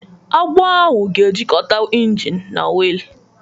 Agbụ ahụ ga-ejikọta engine na wiil.